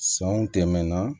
Sanw tɛmɛna